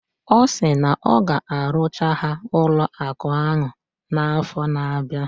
Ọ sị na ọ ga-arụchara ha ụlọụka ahụ n' afọ na-abịa.